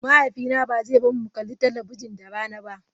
Mahaifina ba zai bar mu mu kalli talabijin da rana ba.